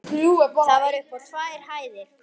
Það var upp á tvær hæðir.